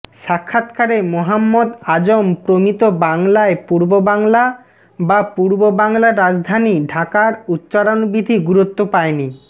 সাক্ষাৎকারে মোহাম্মদ আজম প্রমিত বাংলায় পূর্ব বাংলা বা পূর্ব বাংলার রাজধানী ঢাকার উচ্চারণবিধি গুরুত্ব পায়নি